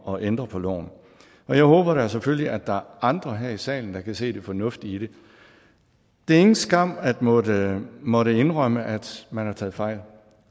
og ændrer på loven jeg håber da selvfølgelig at der er andre her i salen der kan se det fornuftige i det det er ingen skam at måtte måtte indrømme at man har taget fejl